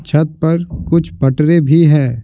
छत पर कुछ पटरे भी हैं।